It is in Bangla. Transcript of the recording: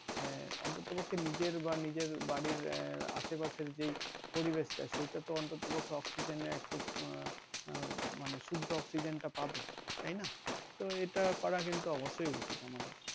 এহ অন্তত পক্ষে নিজের বা নিজের বাড়ির আহ আশে পাশের যেই পরিবেশ টা সেটা তো অন্তত পক্ষে অক্সিজেন একটু আহ উম মানে শুদ্ধ অক্সিজেন টা পাবে তাইনা তো এইটা করা কিন্তু অবশ্যই উচিত আমাদের।